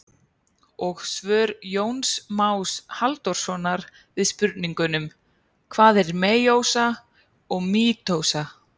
Og svör Jóns Más Halldórssonar við spurningunum: Hvað er meiósa og mítósa?